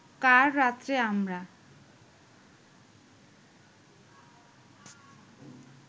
কার রাত্রে আমরা